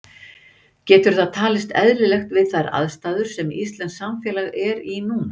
Getur það talist eðlilegt við þær aðstæður sem íslenskt samfélag er í núna?